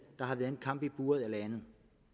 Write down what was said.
har været en kamp i buret eller andet